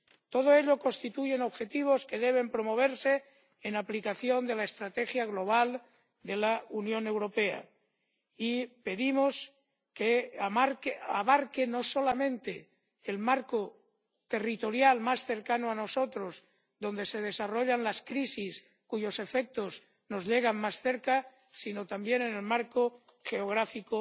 Todo ello constituyen objetivos que deben promoverse en aplicación de la Estrategia Global de la Unión Europea, y pedimos que abarque no solamente el marco territorial más cercano a nosotros, donde se desarrollan las crisis, cuyos efectos nos llegan más cerca, sino también en el marco geográfico